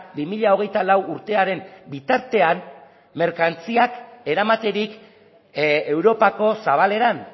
bi mila hogeita lau urtearen bitartean merkantziak eramaterik europako zabaleran